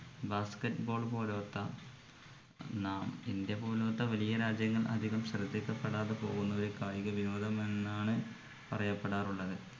basket ball പോലോത്ത നാം India പോലോത്ത വലിയ രാജ്യങ്ങൾ അധികം ശ്രദ്ധിക്കപ്പെടാതെ പോകുന്ന ഒരു കായിക വിനോദം എന്നാണ് പറയപ്പെടാറുള്ളത്